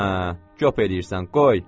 Hə, göp eləyirsən, qoy.